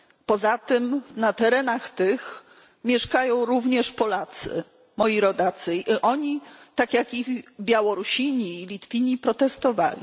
Poza tym na terenach tych mieszkają również Polacy moi rodacy i oni, tak jak i Białorusini i Litwini, protestowali.